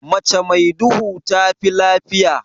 Mace mai duhu tafi lafiya.